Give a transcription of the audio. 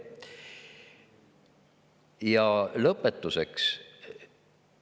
Ja lõpetuseks.